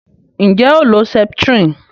Nje o lo septrin?